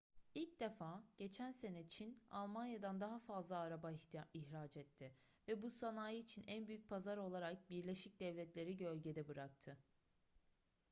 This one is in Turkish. i̇lk defa geçen sene çin almanya'dan daha fazla araba ihraç etti ve bu sanayi için en büyük pazar olarak birleşik devletler'i gölgede bıraktı